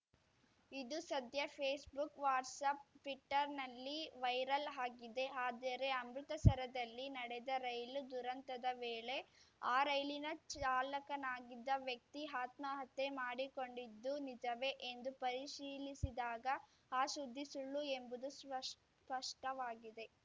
ಇದು ಸದ್ಯ Facebook WhatsApp ಟ್ವೀಟರ್‌ನಲ್ಲಿ ವೈರಲ್‌ ಆಗಿದೆ ಆದರೆ ಅಮೃತಸರದಲ್ಲಿ ನಡೆದ ರೈಲು ದುರಂತದ ವೇಳೆ ಆ ರೈಲಿನ ಚಾಲಕನಾಗಿದ್ದ ವ್ಯಕ್ತಿ ಆತ್ಮಹತ್ಯೆ ಮಾಡಿಕೊಂಡಿದ್ದು ನಿಜವೇ ಎಂದು ಪರಿಶೀಲಿಸಿದಾಗ ಆ ಸುದ್ದಿ ಸುಳ್ಳು ಎಂಬುದು ಸ್ಪಷ್ ಸ್ಪಷ್ಟವಾಗಿದೆ